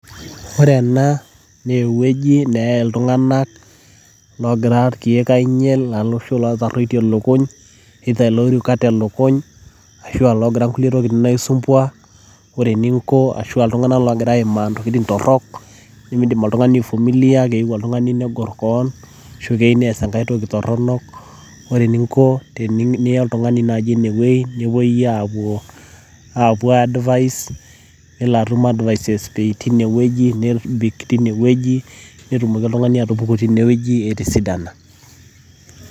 Ore ena naa ewueji neyai iltung'anak logira irkeek ainyal, loshi lotarruotie lukuny, loirukate lukuny, ashua logira nkulie tokiting' aisumbua. Ore eninko ashua iltung'anak logira aimaa ntokiting' torrok, nimiidim oltung'ani aifumilia, keyieu oltung'ani before keon, ashu keyieu nees enkai toki torronok. Ore eninko teniyieu nai niya oltung'ani inewueji, nepoi apuo apuo ai advice ,nitum advices teinewueji, nebik teinewueji, netumoki oltung'ani atupuku teinewueji etisidana.